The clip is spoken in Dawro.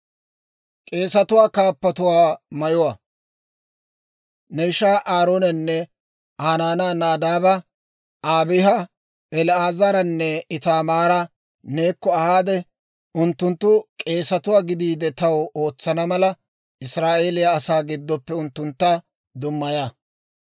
«Ne ishaa Aaroonanne Aa naanaa Nadaaba, Abiiha, El"aazaaranne Itaamaara neekko ahaade; unttunttu k'eesatuwaa gidiide taw ootsana mala, Israa'eeliyaa asaa giddoppe unttuntta dummaya.